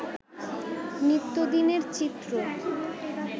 নিত্যদিনের চিত্র